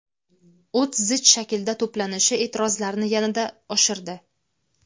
o‘t zich shaklda to‘planishi e’tirozlarni yanada oshirdi.